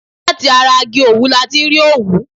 Láti ara igi òwú ni a ti rí òwú.